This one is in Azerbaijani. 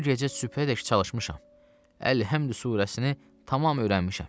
bu gecə sübhədək çalışmışam, Əlhəmd surəsini tamam öyrənmişəm.